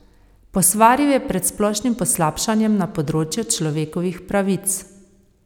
Posvaril je pred splošnim poslabšanjem na področju človekovih pravic.